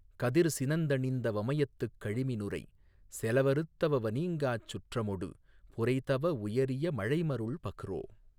கதிர்சினந் தணிந்த வமயத்துக் கழிமி னுரைசெல வெறுத்தவவ னீங்காச் சுற்றமொடு புரைதவ வுயரிய மழைமருள் பஃறோ